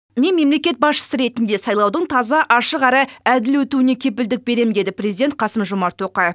мен мемлекет басшысы ретінде сайлаудың таза ашық әрі әділ өтуіне кепілдік беремін деді президент қасым жомарт тоқаев